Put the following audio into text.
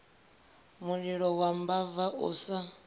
mulilo wa mbava u sa